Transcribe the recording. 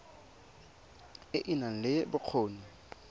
e e nang le bokgoni